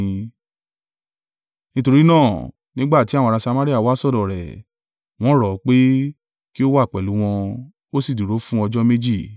Nítorí náà, nígbà tí àwọn ará Samaria wá sọ́dọ̀ rẹ̀, wọ́n rọ̀ ọ́ pé, kí ó wà pẹ̀lú wọn, ó sì dúró fún ọjọ́ méjì.